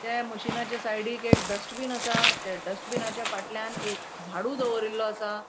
त्या मशीनाच्या साइडिक एक डस्ट्बिन आसा त्या डस्ट्बिनाच्या फाटल्यान एक झाड़ू दोवरील्लो आसा.